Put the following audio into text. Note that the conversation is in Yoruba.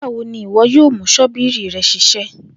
Nigbawo ni iwọ yoo mu ṣọ́bìrì rẹ ṣiṣẹ